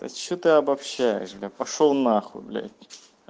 то есть что ты обобщаешь бля пошёл нахуй бля